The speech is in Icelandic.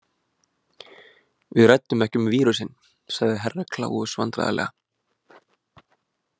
Við ræddum ekki um vírusinn, svarði Herra Kláus vandræðalega.